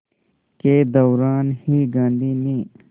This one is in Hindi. के दौरान ही गांधी ने